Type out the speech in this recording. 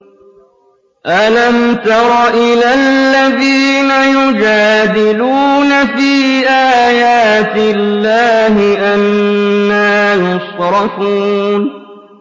أَلَمْ تَرَ إِلَى الَّذِينَ يُجَادِلُونَ فِي آيَاتِ اللَّهِ أَنَّىٰ يُصْرَفُونَ